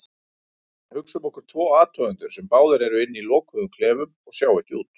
Hugsum okkur tvo athugendur sem báðir eru inni í lokuðum klefum og sjá ekki út.